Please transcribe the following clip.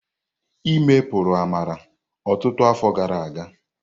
Íme puru Amara ọtụtụ afọ gara aga.